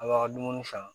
A b'aw ka dumuni san